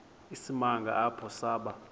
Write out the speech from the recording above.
isimanga apho saba